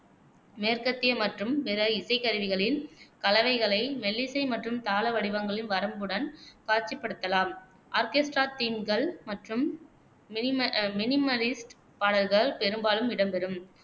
மேற்கத்திய மற்றும் பிற இசைக்கருவிகளின் கலவைகளை, மெல்லிசை மற்றும் தாள வடிவங்களின் வரம்புடன் காட்சிப்படுத்தலாம். ஆர்கெஸ்ட்ரா தீம்கள் மற்றும் மினிம மினிமலிஸ்ட் பாடல்கள் பெரும்பாலும் இடம்பெறும்.